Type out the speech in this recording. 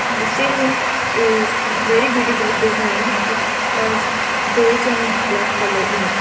the sealing is very beautifully designed it has bage and black colour in it.